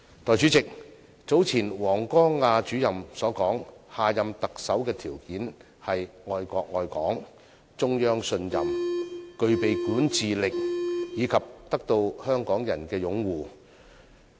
代理主席，據早前王光亞主任所說，下任特首的條件是愛國愛港、獲中央信任、具備管治能力，以及得到港人擁護。